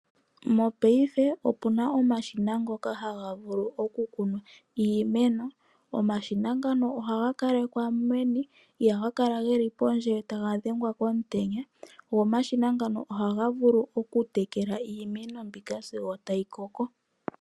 Mkpaife opuna omashina ngoka haga vulu oku kuna iimeno. Omashina ngano ohaga kalekwa meni, ihaga kala geli pondje taga dhengwa komtenya, go omashina ngano oha vulu oku tekela iimeno mbika sigo tayi koko.